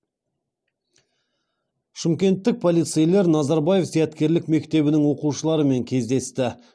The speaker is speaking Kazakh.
шымкенттік полицейлер назарбаев зияткерлік мектебінің оқушыларымен кездесті